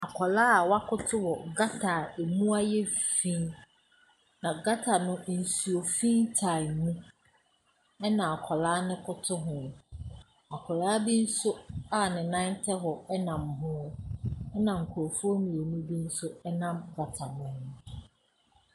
Akwadaa a wakoto wɔ gutter a ɛmu ayɛ fi mu, na gutter no, nsufi taa mu, ɛna akwadaa no koto ho. Akwadaa bi nso a ne nan tɛ hɔ nam ho. Ɛna nkurɔfoɔ mmienu bi nso nam gutter no anim.